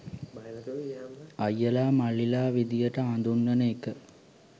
අයියලා මල්ලිලා විදිහට හඳුන්වන එක